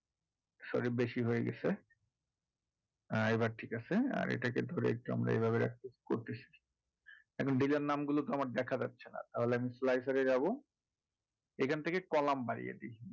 sorry বেশি হয়ে গেছে আহ এবার ঠিক আছে আর এটাকে ধরে একটু আমরা এভাবে রাখি করে দিয়েছি এখন dealer নামগুলো তো আমার দেখা যাচ্ছে না তাহলে আমি slicer এ যাবো যেকোন থেকে column বাড়িয়ে দিই